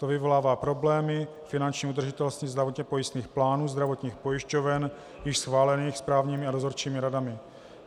To vyvolává problémy finanční udržitelnosti zdravotně pojistných plánů zdravotních pojišťoven již schválených správními a dozorčími radami.